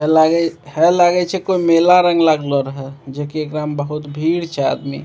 हेय लागय हेय लागय छै कोनो मेला रंग लागलो रहय जे की एकरा में बहुत भीड़ छै आदमी।